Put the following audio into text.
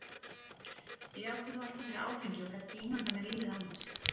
Ég átti þó alltaf fyrir áfengi og gat ekki ímyndað mér lífið án þess.